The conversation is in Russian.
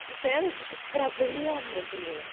то постоянно какие-то проблемы блин